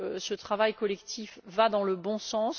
ce travail collectif va dans le bon sens.